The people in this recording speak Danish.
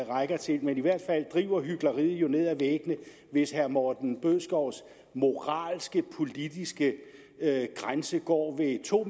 rækker til men i hvert fald driver hykleriet jo ned ad væggene hvis herre morten bødskovs moralske politiske grænse går ved to